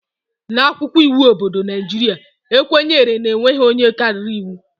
N'akwụkwọ iwu obodo Naijiria, e kwenyere na e nweghị onye karịrị iwu